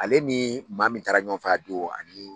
Ale ni maa min taara ɲɔgɔnfɛ a don ani